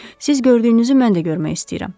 Siz gördüyünüzü mən də görmək istəyirəm.